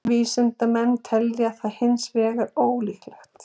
Vísindamenn telja það hins vegar ólíklegt.